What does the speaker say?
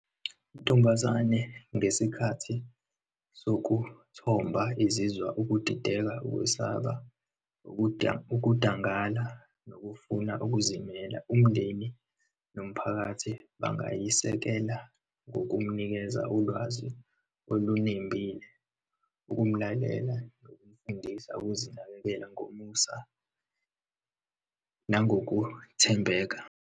Intombazane, ngesikhathi sokuthomba izizwa ukudideka, ukwesaba, ukudangala nokufuna ukuzimela. Umndeni nomphakathi bangayisekela ngokumnikeza ulwazi olunembile, ukumlalela, nokumfundisa ukuzinakekela, ngomusa nangokuthembeka.